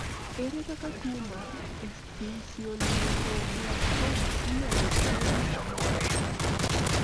ere kaka tuo mar esthesioneuroblastoma inyalo thiedhi samoro?